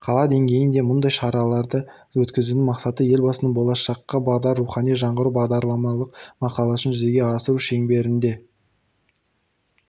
қала деңгейінде мұндай шараны өткізудің мақсаты елбасының болашаққа бағдар рухани жаңғыру бағдарламалық мақаласын жүзеге асыру шеңберінде